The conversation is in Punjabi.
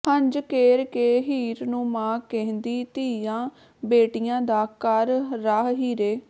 ਹੰਝ ਕੇਰ ਕੇ ਹੀਰ ਨੂੰ ਮਾਂ ਕਹਿੰਦੀ ਧੀਆਂ ਬੇਟੀਆਂ ਦਾ ਕਰ ਰਾਹ ਹੀਰੇ